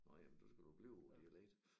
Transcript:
Nåh jamen nu skal du blive på dialekt